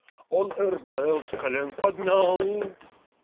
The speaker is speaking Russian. он рбл с колен поднял